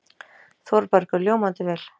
ÞÓRBERGUR: Ljómandi vel.